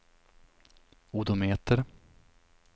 odometer